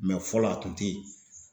fɔlɔ a kun tɛ yen